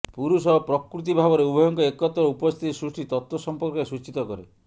ପୁରୁଷ ଓ ପ୍ରକୃତି ଭାବରେ ଉଭୟଙ୍କ ଏକତ୍ର ଉପସ୍ଥିତି ସୃଷ୍ଟି ତତ୍ତ୍ୱ ସମ୍ପର୍କରେ ସୂଚିତ କରେ